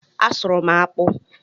A sụrụ m akpụ